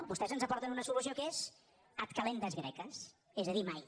vostès ens aporten una solució que és ad kalendas graecas és a dir mai